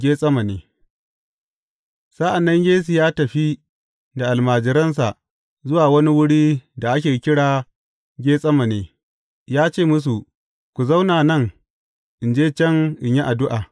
Getsemane Sa’an nan Yesu ya tafi da almajiransa zuwa wani wurin da ake kira Getsemane, ya ce musu, Ku zauna nan, in je can in yi addu’a.